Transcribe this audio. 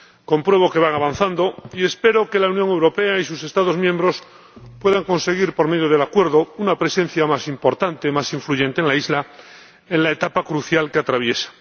Compruebo que van avanzando y espero que la Unión Europea y sus Estados miembros puedan conseguir, por medio del acuerdo, una presencia más importante, más influyente en la isla, en la etapa crucial que atraviesa.